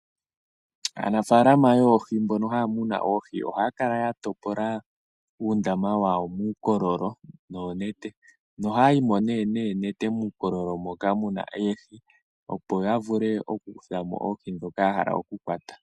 Aanafaalama yoohi mbono haya munu oohi ohaya kala ya topola uundama wawo muukololo noonete nohayi mo nee noote muukololo moka mu na oohi, opo ya vule okukutha mo oohi ndhoka ya hala okukwata.